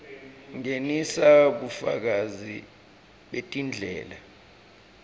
ngenisa bufakazi betindlela